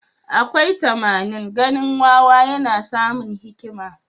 Akwai tamanin ganin wawa yana samun hikima?